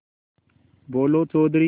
बोलो चौधरी